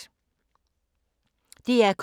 DR K